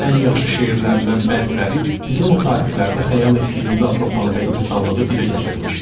Ən yaxşı şeirlərindən bəziləri bizim o tarixlərdə xəyal etdiyimiz Avropanı və insanlığı dilə gətirmişdi.